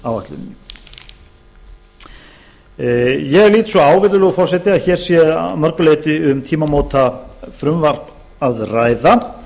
samgönguáætluninni ég lít svo á virðulegur forseti að hér sé að mörgu leyti um tímamótafrumvarp að ræða það